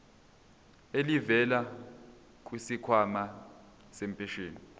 elivela kwisikhwama sempesheni